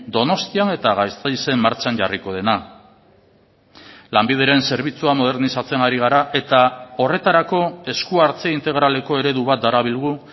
donostian eta gasteizen martxan jarriko dena lanbideren zerbitzua modernizatzen ari gara eta horretarako esku hartze integraleko eredu bat darabilgu